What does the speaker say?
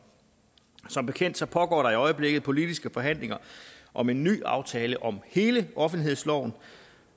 som bekendt pågår der i øjeblikket politiske forhandlinger om en ny aftale om hele offentlighedsloven